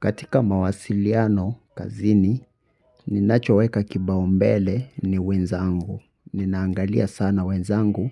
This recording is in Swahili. Katika mawasiliano kazini, ninachoweka kipaumbele ni wenzangu. Ninaangalia sana wenzangu